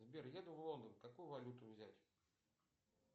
сбер еду в лондон какую валюту взять